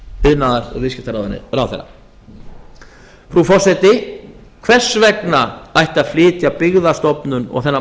iðnaðar og viðskiptaráðherra frú forseti hvers vegna ætti að flytja byggðastofnun aga þennan